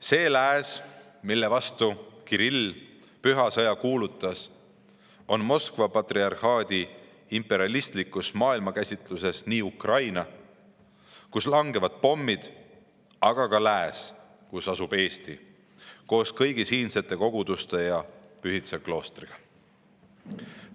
See lääs, mille vastu Kirill püha sõja kuulutas, on Moskva patriarhaadi imperialistlikus maailmakäsitluses nii Ukraina, kus langevad pommid, kui ka lääs, kus asub Eesti koos kõigi siinsete koguduste ja Pühtitsa kloostriga.